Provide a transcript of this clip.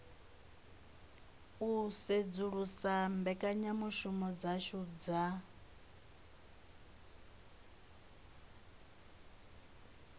u sedzulusa mbekanyamushumo dzashu dza